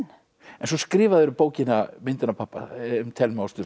en svo skrifaðirðu bókina myndin af pabba um Thelmu